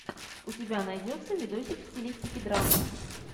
у тебя найдется видосик в стилистике драмы